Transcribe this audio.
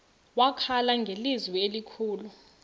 wakhala ngelizwi elikhulu